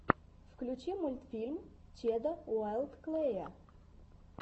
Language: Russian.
включи мультфильм чеда уайлд клэя